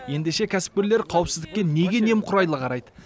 ендеше кәсіпкерлер қауіпсіздікке неге немқұрайлы қарайды